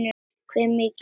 Hve mikill er hitinn?